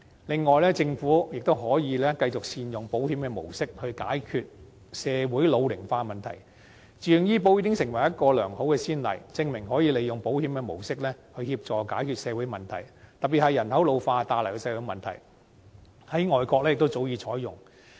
另外，政府亦可以繼續善用保險模式，解決社會老齡化問題，自願醫保計劃已經成為一個良好的先例，證明可以利用保險的模式來協助解決社會問題，特別是人口老化帶來的社會問題，這模式在外國亦早已採用。